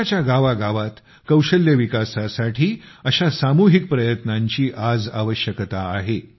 देशाच्या गावागावात कौशल्य विकासासाठी अशा सामूहिक प्रयत्नांची आवश्यकता आहे